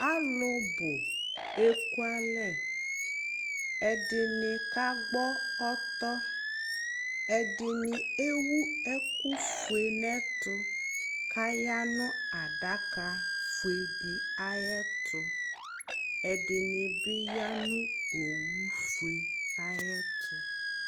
alò bò eku alɛ ɛdini ka gbɔ ɔtɔ ɛdini ewu ɛkò fue n'ɛto k'aya n'adaka fue di ayi ɛto ɛdini bi ya no owu fue ayi ɛto